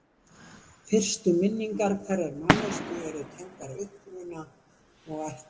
fyrstu minningar hverrar manneskju eru tengdar uppruna og ættmennum